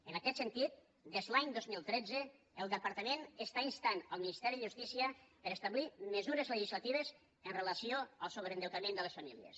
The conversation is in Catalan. en aquest sentit des l’any dos mil tretze el departament insta el ministeri de justícia a establir mesures legislatives amb relació al sobreendeutament de les famílies